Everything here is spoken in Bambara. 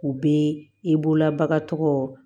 U bɛ i bolola bagan tɔgɔ